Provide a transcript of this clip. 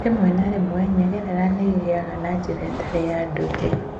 Rĩmwe na rĩmwe nyegerera nĩ igĩaga na njĩra ĩtarĩ ya ndũire.